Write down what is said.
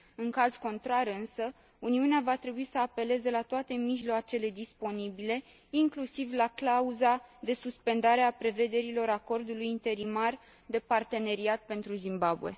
În caz contrar însă, Uniunea va trebui să apeleze la toate mijloacele disponibile, inclusiv la clauza de suspendare a prevederilor Acordului interimar de parteneriat pentru Zimbabwe.